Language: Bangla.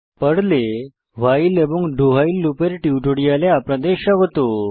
পর্লে ভাইল এবং do ভাইল লুপের টিউটোরিয়ালে আপনাদের স্বাগত